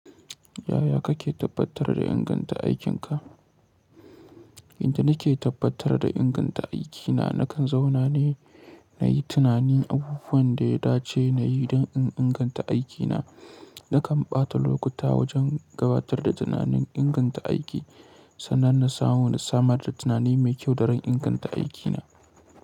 Yaya kake tabbatar da inganta aikinka? Inda nake tabbatar da inganta aikina, nakan zauna ne na yi tunani abubuwan da ya dace na yi don in inganta aikina. Nakan ɓata lokuta wajen gabatar da tunanin inganta aiki, sannan na samu na samar da tunani mai kyau daran inganta aikina.